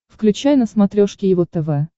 включай на смотрешке его тв